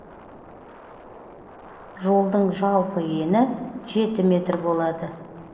жолдың жалпы ені жеті метр болады